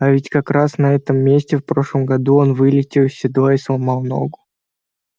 а ведь как раз на этом месте в прошлом году он вылетел из седла и сломал ногу